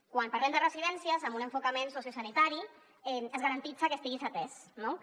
quan parlem de residències amb un enfocament sociosanitari es garanteix que estiguis atès no que